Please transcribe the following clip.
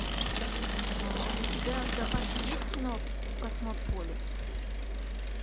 у тебя в запасе есть кино космополис